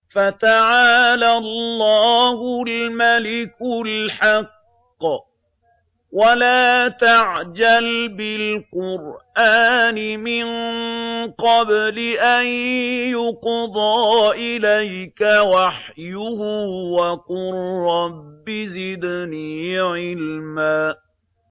فَتَعَالَى اللَّهُ الْمَلِكُ الْحَقُّ ۗ وَلَا تَعْجَلْ بِالْقُرْآنِ مِن قَبْلِ أَن يُقْضَىٰ إِلَيْكَ وَحْيُهُ ۖ وَقُل رَّبِّ زِدْنِي عِلْمًا